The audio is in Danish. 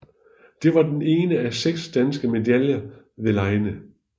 Det var den ene af seks danske medaljer ved legene